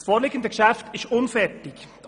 Das vorliegende Geschäft ist unfertig;